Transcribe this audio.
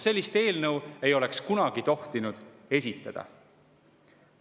Sellist eelnõu ei oleks kunagi tohtinud esitada.